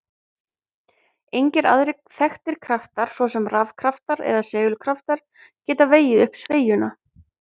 Engir aðrir þekktir kraftar, svo sem rafkraftar eða segulkraftar, geta vegið upp sveigjuna.